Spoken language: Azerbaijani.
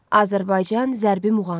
Azərbaycan zərbi muğamı.